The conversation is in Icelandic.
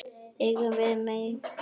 Engum varð meint af.